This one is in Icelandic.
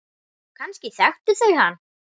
Kannski þekktu þau hann.